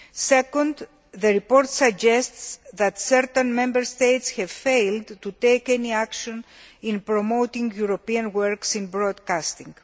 Second, the report suggests that certain Member States have failed to take any action in promoting European works in broadcasting.